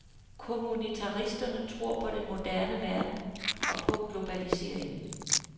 Kommunitaristerne tror på den moderne verden og på globaliseringen.